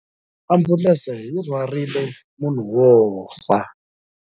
Ambulense yi rhwarile munhu wo fa.